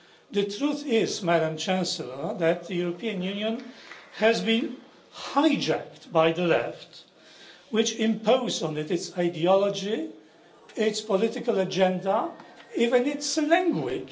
The truth is, Madam Chancellor, that the European Union has been hijacked by the left, which has imposed on it its ideology, its political agenda and even its language.